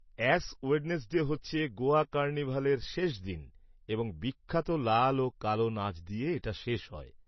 Ash Wednesday হচ্ছে গোয়া কার্নিভালের শেষ দিন এবং বিখ্যাত লাল ও কালো নাচ দিয়ে এটা শেষ হয়।